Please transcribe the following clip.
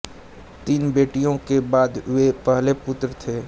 तीन बेटियों के बाद वे पहले पुत्र थे